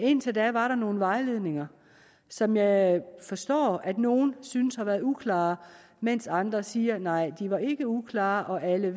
indtil da var der nogle vejledninger som jeg forstår nogle synes har været uklare mens andre siger nej de var ikke uklare og alle